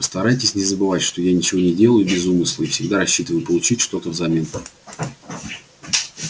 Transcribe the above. постарайтесь не забывать что я ничего не делаю без умысла и всегда рассчитываю получить что-то взамен